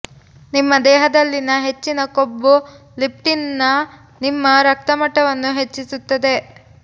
ನಿಮ್ಮ ದೇಹದಲ್ಲಿನ ಹೆಚ್ಚಿನ ಕೊಬ್ಬು ಲೆಪ್ಟಿನ್ ನ ನಿಮ್ಮ ರಕ್ತ ಮಟ್ಟವನ್ನು ಹೆಚ್ಚಿಸುತ್ತದೆ